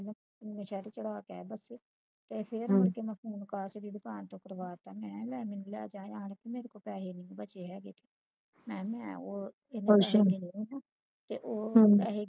ਤੇ ਮੈਂ ਸ਼ਰਟ ਚੜਾ ਕੇ ਆਇਆ ਬਸੇ ਪੈਸੇ ਹੈ ਨਹੀਂ ਕੇ ਮੈਨੂੰ ਕਾਸ਼ ਦੀ ਦੁਕਾਨ ਤੇ ਤੁਰਵਾਤਾ ਤੇ ਮੈਂ ਲੈ ਮੈਨੂੰ ਲੈ ਜਾ ਨਾਨਕ ਮੇਰੇ ਕੋਲ ਪੈਸੇ ਨੀ ਬਚੇ ਹੈਗੇ ਮੈਂ ਮੈਂ ਉਹ ਕੇ ਉਹ ਪੈਸੇ